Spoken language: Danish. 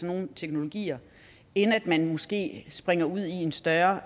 nogle teknologier end at man måske springer ud i en større